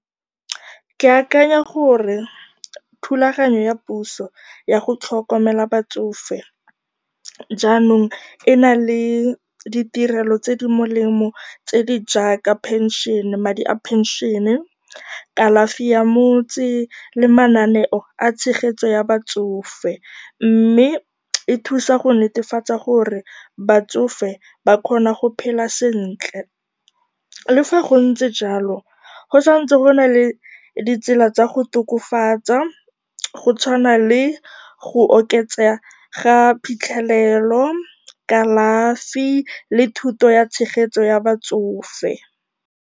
Ke akanya gore thulaganyo ya puso ya go tlhokomela batsofe jaanong ena le ditirelo tse di molemo tse di jaaka pension, madi a phenšene, kalafi ya motse, le mananeo a tshegetso ya batsofe, mme e thusa go netefatsa gore batsofe ba kgona go phela sentle. Le fa go ntse jalo, go tshwanetse go nna le ditsela tsa go tokafatsa, go tshwana le go oketsega ga phitlhelelo, kalafi le thuto ya tshegetso ya batsofe.